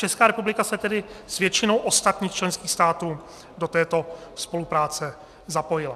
Česká republika se tedy s většinou ostatních členských států do této spolupráce zapojila.